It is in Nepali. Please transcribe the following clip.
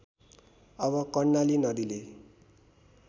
अब कर्णाली नदीले